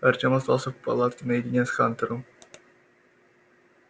артём остался в палатке наедине с хантером